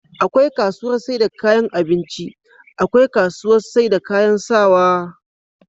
akwai kasuwar saida kayan abinci akwai kasuwar saida kayan sawaa